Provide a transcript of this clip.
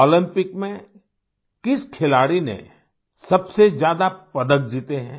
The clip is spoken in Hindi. ओलम्पिक में किस खिलाड़ी ने सबसे ज्यादा पदक जीते हैं